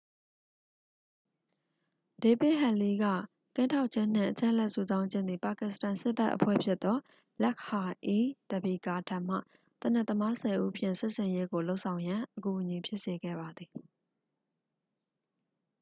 ဒေးဗစ်ဟက်လီး ၏ ကင်းထောက်ခြင်းနှင့် အချက်အလက်စုဆောင်းခြင်းသည် ပါကစ္စတန်စစ်ဘက်အဖွဲ့ဖြစ်သော လက်ခ်ဟာ-အီး-တဘီကာ ထံမှ သေနတ်သမားဆယ်ဦးဖြင့် စစ်ဆင်ရေးကိုလုပ်ဆောင်ရန် အကူအညီဖြစ်စေခဲ့ပါသည်